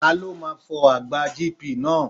Ta ló máa fọ àgbá GP náà.?